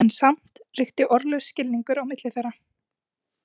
En samt ríkti orðlaus skilningur á milli þeirra.